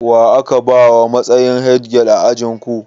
Wa aka bawa matsayi headgirl a ajin ku?